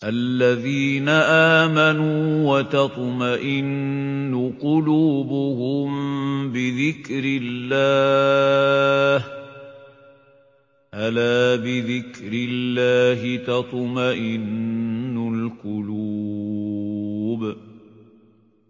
الَّذِينَ آمَنُوا وَتَطْمَئِنُّ قُلُوبُهُم بِذِكْرِ اللَّهِ ۗ أَلَا بِذِكْرِ اللَّهِ تَطْمَئِنُّ الْقُلُوبُ